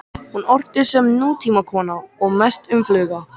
Hún orti sem nútímakona og mest um fugla.